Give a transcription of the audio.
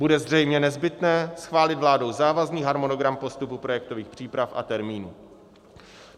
Bude zřejmě nezbytné schválit vládou závazný harmonogram postupu projektových příprav a termínů.